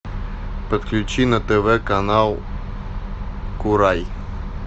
подключи на тв канал курай